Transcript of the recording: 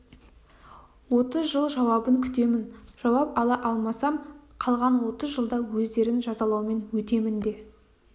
отыз жыл жауабын күтемін жауап ала алмасам қалған отыз жылда өздерін жазалаумен өтемін де